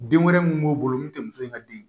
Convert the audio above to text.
Den wɛrɛ mun b'o bolo mun te muso in ka den ye